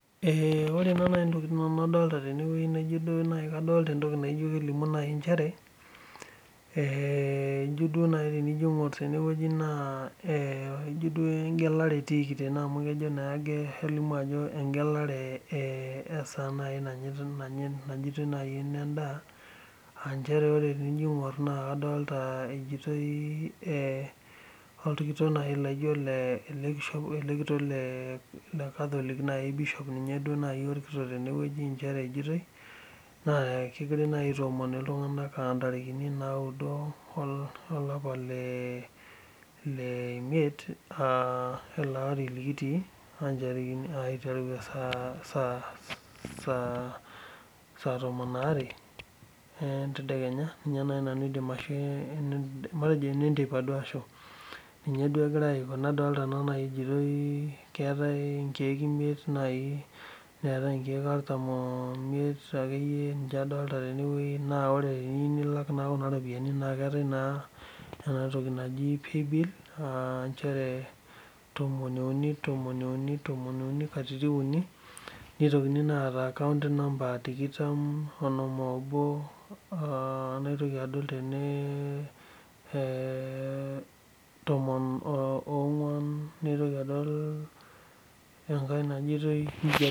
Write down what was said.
Ore ntokitin nadolita tene wueji naa kadolita ewueji naijio kelimu naaji nchere ejio tenijo aing'or Kuna egelare etikii eshaa naaji natiiki najoitoiyoi ene ndaa amu tenaing'or naa kejoitoi ele kitok lee catholic ninye orkitok tene kejoitoi naa kegirai naaji aiton iltung'ana aa ntariki naudo olapa lee miet ele Ari likiitu eiteru saa tomon are entedekenya matejo ene nteipa ashuu ninye egirai Aiko nadolita naa naaji kejoitoi keetae nkejek emiet neetae nkejek artam omiet nincheadolita tene wueji naa teniyieu nilak Kuna ropiani etae naa enatoki naa pay bill nchere tomon uni tomon uni tom uni nkatitin uni neitokini naa ata account number tikitam onom obo tomon ong'uan naitoki adol enkae najoitoi